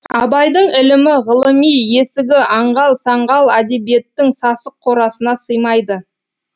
абайдың ілімі ғылыми есігі аңғал саңғал әдебиеттің сасық қорасына сыймайды